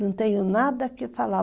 Não tenho nada a que falar.